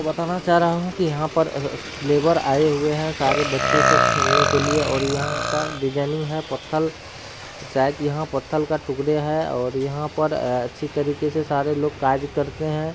बताना चाह रहा हूँ कि यहाँ पर अ लेबर आये हुए हैं सारे बच्चे सब खेलने के लिए और यहाँ का डिजाइनिंग है पत्थल | शायद यहाँ पत्थल का टुकड़े हैं और यहाँ पर अच्छी तरीके से सारे लोग काज करते हैं।